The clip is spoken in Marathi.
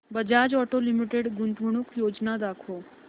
बजाज ऑटो लिमिटेड गुंतवणूक योजना दाखव